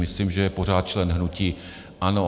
Myslím, že je pořád členem hnutí ANO.